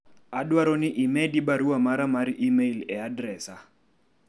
adwaro ni imedi barua mara mar email e adresa